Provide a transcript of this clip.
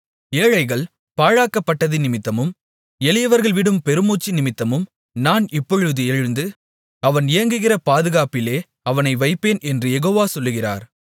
ஏழைகள் பாழாக்கப்பட்டதினிமித்தமும் எளியவர்கள் விடும் பெருமூச்சினிமித்தமும் நான் இப்பொழுது எழுந்து அவன் ஏங்குகிற பாதுகாப்பிலே அவனை வைப்பேன் என்று யெகோவா சொல்லுகிறார்